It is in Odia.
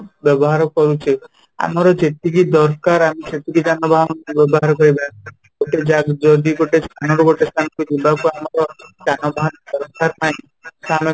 ବ୍ୟବହାର କରୁଛେ ଆମର ଯେତିକି ଦରକାର ଆମେ ସେତିକି ଯାନବାହାନ ବ୍ୟବହାର କରିବା ଯଦି ଗୋଟେ ସ୍ଥାନ ରୁ ଗୋଟେ ସ୍ଥାନ କୁ ଯିବା କୁ ଆମର ଯାନବାହାନ ଦରକାର ନାଇଁ